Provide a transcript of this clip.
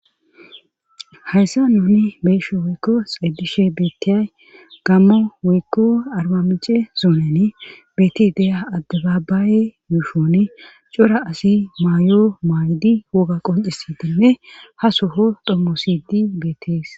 hayssa nuni beesho woykko xedishe beettiyay gammo woykko armamice zuonene betti deya adde baabaaye yuushone cora asi maayo maaydi woga qoncisi dimme ha soho dhommo sidi beettees